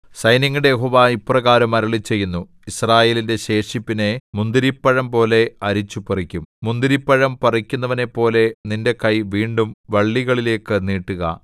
സൈന്യങ്ങളുടെ യഹോവ ഇപ്രകാരം അരുളിച്ചെയ്യുന്നു യിസ്രായേലിന്റെ ശേഷിപ്പിനെ മുന്തിരിപ്പഴംപോലെ അരിച്ചുപറിക്കും മുന്തിരിപ്പഴം പറിക്കുന്നവനെപ്പോലെ നിന്റെ കൈ വീണ്ടും വള്ളികളിലേക്കു നീട്ടുക